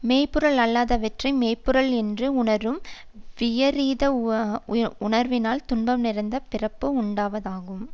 மெய் பொருள் அல்லாதவற்றை மெய் பொருள் என்று உணரும் விபரீத உணர்வினால் துன்பம் நிறைந்த பிறப்பு உண்டாவதாகும்